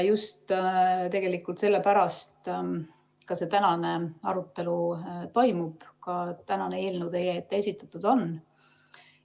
Just sellepärast ka see tänane arutelu toimub ja see eelnõu teile esitatud on.